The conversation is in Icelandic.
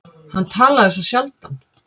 Hann talaði svo sjaldan.